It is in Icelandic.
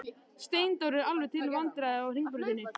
Steindór er alveg til vandræða á Hringbrautinni.